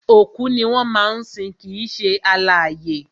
Òkú ni wọ́n máa ń sin kìí ṣe alààyè